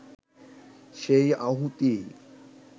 সেই আহুতি